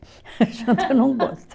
Janta eu não gosto.